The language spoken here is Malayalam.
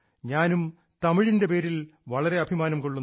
ഞാനും തമിഴിൻറെ പേരിൽ വളരെ അഭിമാനം കൊള്ളുന്നു